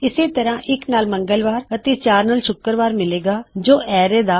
ਇਸੇ ਤਰ੍ਹਾ ਇੱਕ ਨਾਲ ਮੰਗਲਵਾਰ ਅਤੇ ਚਾਰ ਨਾਲ ਹੋਇਗਾ ਸ਼ੁੱਕਰਵਾਰ ਜੋ ਆਖਰੀ ਐੱਲਿਮੈਨਟ ਹੈ ਅਰੈ ਦਾ